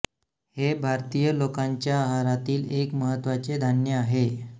हे भारतीय लोकांच्या आहारातील एक महत्त्वाचे धान्य आहे